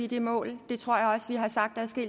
det mål